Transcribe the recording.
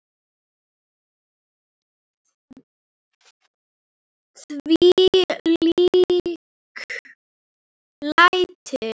Þvílík læti!